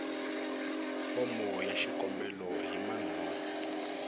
fomo ya xikombelo hi manharhu